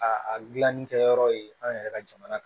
A a gilanni kɛ yɔrɔ ye an yɛrɛ ka jamana